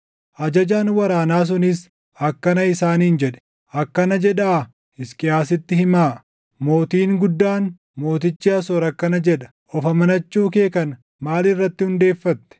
Ajajaan waraanaa sunis akkana isaaniin jedhe; “Akkana jedhaa Hisqiyaasitti himaa: “ ‘Mootiin guddaan, mootichi Asoor akkana jedha: Of amanachuu kee kana maal irratti hundeeffatte?